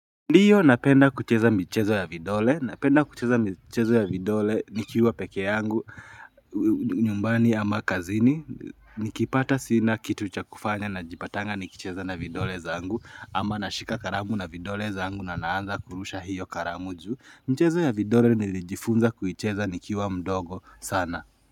Ndiyo napenda kucheza mchezo ya vidole, napenda kucheza mchezo ya vidole, nikiuwa peke yangu, nyumbani ama kazini, nikipata sina kitu cha kufanya na jipatanga nikicheza na vidole zangu, ama nashika karamu na vidole zangu na naanza kurusha hiyo karamuju, mchezo ya vidole nilijifunza kucheza nikiuwa mdogo sana.